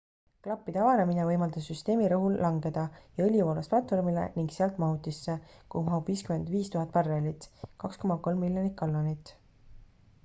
klappide avanemine võimaldas süsteemi rõhul langeda ja õli voolas platvormile ning sealt mahutisse kuhu mahub 55 000 barrelit 2,3 miljonit gallonit